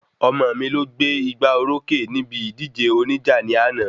Ọmọ mi lọ gbé ìgbà orókè níbi ìjíde oníjà ní àná